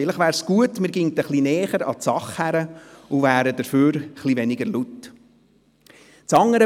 Vielleicht wäre es gut, wenn man etwas näher an die Sache heranginge, aber stattdessen etwas weniger laut wäre.